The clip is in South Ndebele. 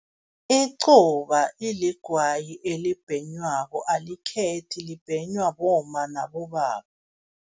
Icuba iligwayi elibhenywako, alikhethi libhenywa bomma nabobaba.